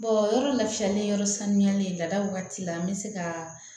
yɔrɔ lafiyalen yɔrɔ sanuyalen lada wagati la an bɛ se ka